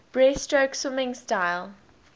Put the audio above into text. breaststroke swimming style